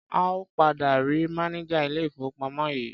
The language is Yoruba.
A ò padà rí mánejà ilé-ìfowópamọ́ yìí.